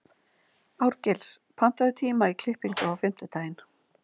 Árgils, pantaðu tíma í klippingu á fimmtudaginn.